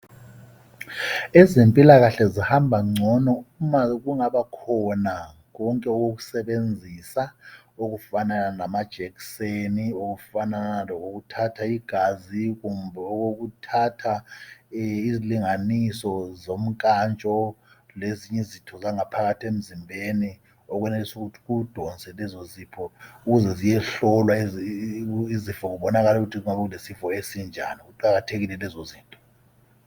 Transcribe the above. Ezempilakahle zihamba ngcono uma kungabakhona konke okokusebenzisa okufanana lamajekiseni okufanana lokokuthatha igazi kumbe okokuthatha izilinganiso zomkantsho lezinye izitho zangaphakathi emzimbeni okwenelisi ukuthi kudonse lezozifo ukuze ziyehlolwa kubonakale ukuthi kunga kulezifo ezinjani ziqakathekile lezo izinto.